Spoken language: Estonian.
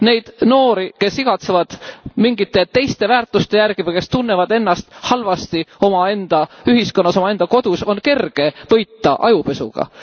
Neid noori, kes igatsevad mingite teiste väärtuste järele või kes tunnevad ennast halvasti omaenda ühiskonnas, omaenda kodus, on kerge võita ajupesuga.